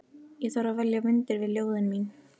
Ég þarf að velja myndir við ljóðin mín.